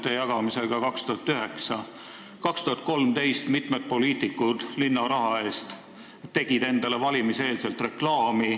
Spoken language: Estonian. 2013. aastal tegi mitu poliitikut endale linna raha eest valimiseelset reklaami.